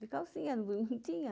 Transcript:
De calcinha, não tinha.